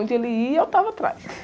Onde ele ia, eu estava atrás.